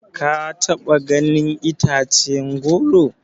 Ka taba ganin itace na goro?